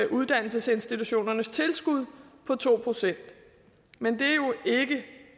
uddannelsesinstitutionernes tilskud på to procent men det er jo ikke